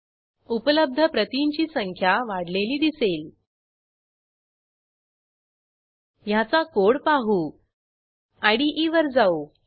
आपण शिकलो ते थोडक्यात युजरची सर्व माहिती मिळवणे युजरला पुस्तक देणे पुस्तक परत घेणे प्रॉजेक्टची माहिती मिळवण्यासाठी स्क्रीनवर दिसत असलेल्या लिंकवर उपलब्ध असलेला व्हिडिओ बघा